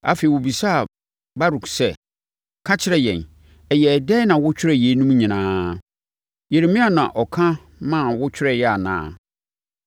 Afei, wɔbisaa Baruk sɛ, “Ka kyerɛ yɛn, ɛyɛɛ dɛn na wotwerɛɛ yeinom nyinaa? Yeremia na ɔka ma wotwerɛeɛ anaa?”